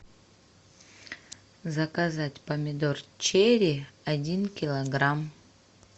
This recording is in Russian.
заказать помидор черри один килограмм